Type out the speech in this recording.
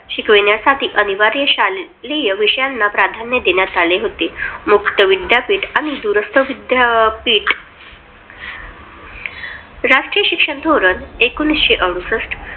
शिकवण्यासाठी अनिवार्य शालेय विषयांना प्राधान्य देण्यात आले होते. मुक्त विद्यापीठ आणि दूरस्थ विद्यापीठ राष्ट्रीय शिक्षण धोरण एकोणविशे अडुसष्ट